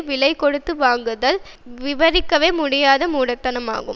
விலை கொடுத்து வாங்குதல் விவரிக்கவே முடியாத மூடத்தனமாகும்